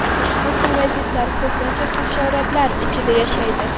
Ushbu parazitlar ko‘pincha hasharotlar ichida yashaydi.